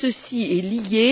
Tout ceci est lié.